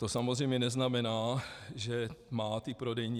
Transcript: To samozřejmě neznamená, že má